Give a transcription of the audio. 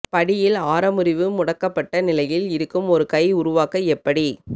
படியில் ஆர முறிவு முடக்கப்பட்ட நிலையில் இருக்கும் ஒரு கை உருவாக்க எப்படி